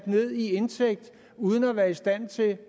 ned i indtægt uden at være i stand til